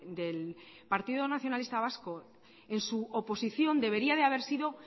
del partido nacionalista vasco en su oposición debería de haber sido